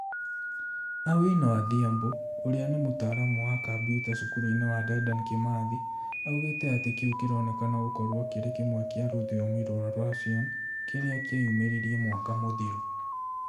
Awino Adhiambo uria nĩ mutaramu wa kambuta cukuru-inĩ wa Dedan Kimathi , augĩte atĩ kĩu kĩronekana gũkorwo kĩrĩ kĩmwe kĩa rũthiomi rwa Russian kĩrĩa kĩeyumĩririe mwaka mũthiru